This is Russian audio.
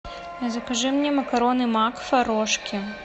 закажи мне макароны макфа рожки